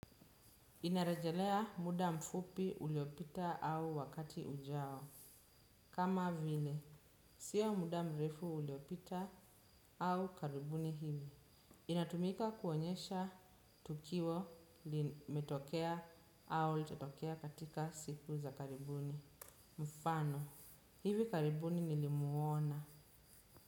Inarejelea muda mfupi uliopita au wakati ujao. Kama vile, siya muda mrefu uliopita au karibuni hivi. Inatumika kuonyesha tukiwo li metokea au li tatokea katika siku za karibuni. Mfano, hivi karibuni nilimuona.